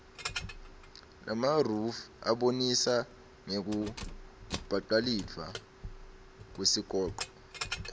lamaruyf abonisa ngekubaculifka kuesikoco